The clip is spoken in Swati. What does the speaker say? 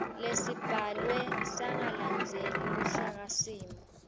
lesibhalwe sangalandzeli luhlakasimo